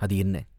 அது என்ன?